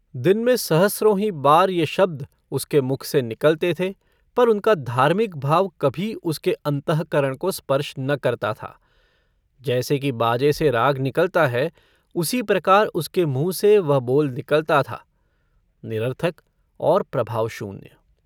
दिन में सहस्रों ही बार ये शब्द उसके मुख से निकलते थे पर उनका धार्मिक भाव कभी उसके अंतःकरण को स्पर्श न करता था। जैसे कि बाजे से राग निकलता है उसी प्रकार उसके मुंँह से वह बोल निकलता था, निरर्थक और प्रभावशून्य।